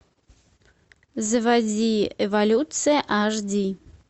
заводи эволюция аш ди